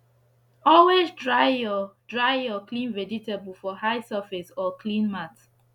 always dry ur dry ur clean vegetable for high surface or clean mat